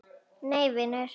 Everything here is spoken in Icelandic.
Nei vinur.